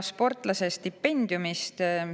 Sportlase stipendiumist.